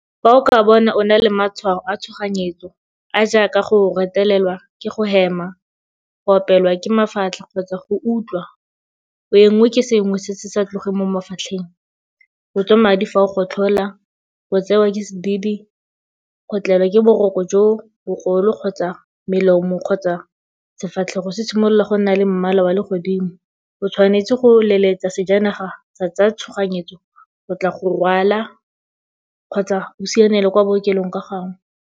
Fa o ka bona o nna le matshwao a tshoganyetso, a a jaaka go retelelwa ke go hema, go opelwa ke mafatlha kgotsa go utlwa o enngwe ke sengwe se se sa tlogeng mo mafatlheng, go tswa madi fa o gotlhola, go tseewa ke sedidi, go tlelwa ke boroko jo bogolo kgotsa melomo kgotsa sefatlhego se simolola go nna le mmala wa legodimo o tshwanetse go letsetsa sejanaga sa tsa tshoganyetso go tla go go rwala kgotsa o sianele kwa bookelong ka gangwe.